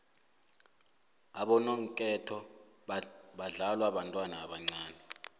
abonongketho badlalwa bantwana abancane